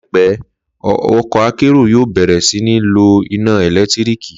Láìpẹ́, ọkọ̀ akérò yóò bẹ̀rẹ̀ sí ní lo iná ẹ̀lẹ́tíríkì